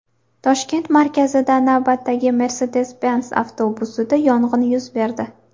Toshkent markazida navbatdagi Mercedes-Benz avtobusida yong‘in yuz berdi .